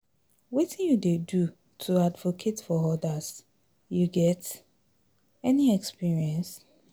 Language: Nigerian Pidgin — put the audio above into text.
Wetin you dey do to advocate for odas, you get any experience?